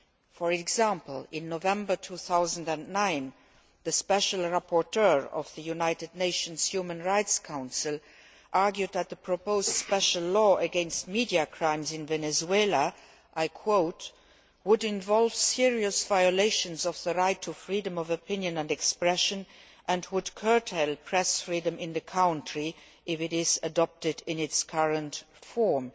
For example, in November 2009, the special rapporteur of the United Nations Human Rights Council argued that the proposed special law against media crimes in Venezuela I quote would involve serious violations of the right to freedom of opinion and expression and would curtail press freedom in the country if it is adopted in its current form'.